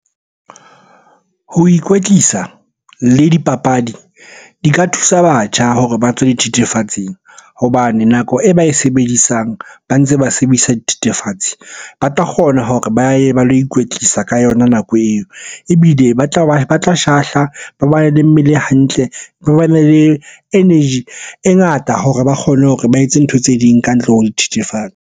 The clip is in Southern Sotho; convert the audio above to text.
Ho ikwetlisa le dipapadi di ka thusa batjha hore ba tswe dithethefatsing hobane nako e ba e sebedisang ba ntse ba sebedisa dithethefatsi ba tla kgona hore re ba ye ba lo ikwetlisa ka yona nako eo. Ebile ba tla shahla, ba bane le mmele hantle, ba bane le energy e ngata hore ba kgone hore ba etse ntho tse ding ka ntle ho dithethefatsi.